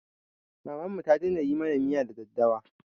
Mamanmu ta daina yi mana miya da daddawa